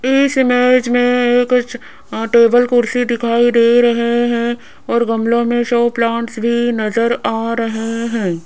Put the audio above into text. इस इमेज में ये कुछ टेबल कुर्सी दिखाई दे रहे हैं और गमले में शो प्लांट्स भी नजर आ रहे हैं।